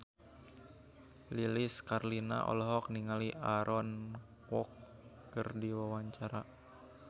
Lilis Karlina olohok ningali Aaron Kwok keur diwawancara